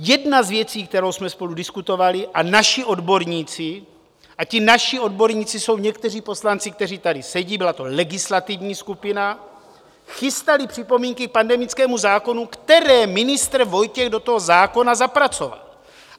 Jedna z věcí, kterou jsme spolu diskutovali, a naši odborníci - a ti "naši odborníci" jsou někteří poslanci, kteří tady sedí, byla to legislativní skupina - chystali připomínky k pandemickému zákonu, které ministr Vojtěch do toho zákona zapracoval.